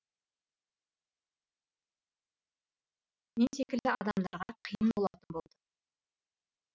мен секілді адамдарға қиын болатын болды